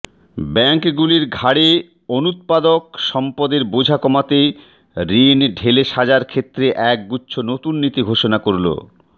ব্যাঙ্কগুলির ঘাড়ে অনুৎপাদক সম্পদের বোঝা কমাতে ঋণ ঢেলে সাজার ক্ষেত্রে একগুচ্ছ নতুন নীতি ঘোষণা করল